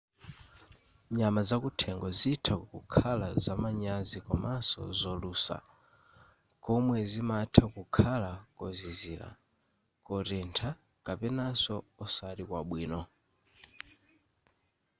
nyama zakuthengo zitha kukhala zamanyazi komanso zolusa komwe zimatha kukhala kozizira kotentha kapenanso osati kwabwino